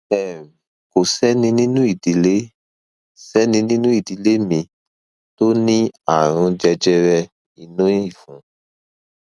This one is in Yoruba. um kò sẹni nínú ìdílé sẹni nínú ìdílé mi tó ní ààrùn jẹjẹrẹ inú ìfun